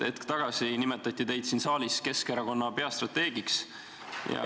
Hetk tagasi nimetati teid siin saalis Keskerakonna peastrateegiks.